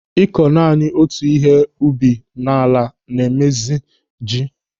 Ịkọ naanị otu ihe ubi n'ala na-emezi ji.